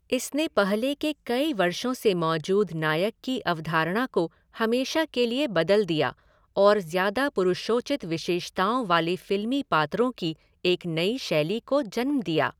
इसने पहले के कई वर्षों से मौजूद नायक की अवधारणा को हमेशा के लिए बदल दिया और ज्यादा पुरुषोचित विशेषताओं वाले फिल्मी पात्रों की एक नई शैली को जन्म दिया।